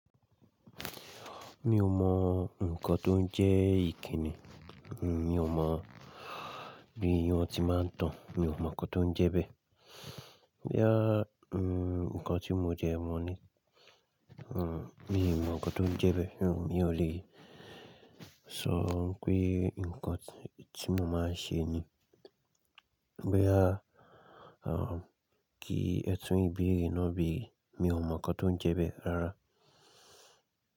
Mi ò mọ nǹkan tó ń jẹ́ ìkíni. Mi ò mọ̀ bí wọ́n ti máa ń tán. Mi ò mọ nǹkan tó ń jẹ bẹ́ẹ̀. Boyà n nǹkan tí mo dẹ mọ ní. N mọ nǹkan tó ń jẹ bẹ́ẹ̀. Mi ò lè sọ pé nǹkan tí mo máa ń ṣe ni. Boyà kí ẹtùn ìbéèrè náà bèrè, mi ò mọ nǹkan tó ń jẹ bẹ́ẹ̀ rárá.